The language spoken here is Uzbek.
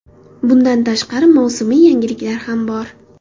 Bundan tashqari, mavsumiy yangiliklar ham bor.